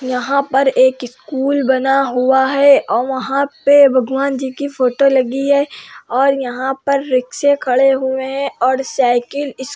यहाँ पर एक स्कूल बना हुआ है औ वहाँ पे भगवान जी की फोटो लगी है और यहाँ पर रिक्शे खड़े हुए है और साइकिल इस --